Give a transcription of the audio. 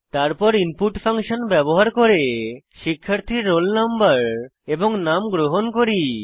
তারপর input function ব্যবহার করে শিক্ষার্থীর roll no এবং নাম গ্রহণ করি